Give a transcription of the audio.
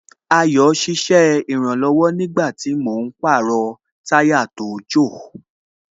Ayo ṣiṣẹ́ ìrànlọ̀wọ̀ nígbàtí mò ń pàrọ̀ táyà tó jò